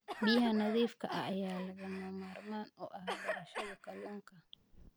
Biyaha nadiifka ah ayaa lagama maarmaan u ah beerashada kalluunka.